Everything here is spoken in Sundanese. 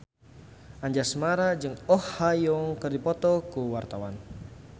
Anjasmara jeung Oh Ha Young keur dipoto ku wartawan